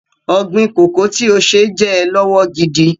Ọ̀̀gbin kòkó tí o ṣe jẹ́ ọ lọ́wọ́ gidi.